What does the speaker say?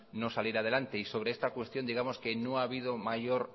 no saliera adelante y sobre esta cuestión digamos que no ha habido mayor